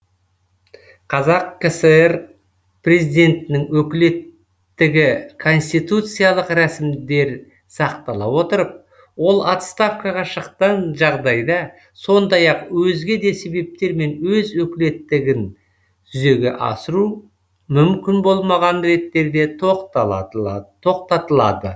қазақ кср президентінің өкілеттігі конституциялық рәсімдер сақтала отырып ол отставкаға шыққан жағдайда сондай ақ өзге де себептермен өз өкілеттігін жүзеге асыру мүмкін болмаған реттерде тоқтатылады